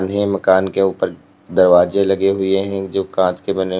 नए मकान के ऊपर दरवाजे लगे हुए है जो कांच के बने हुए--